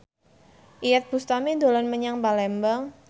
Iyeth Bustami dolan menyang Palembang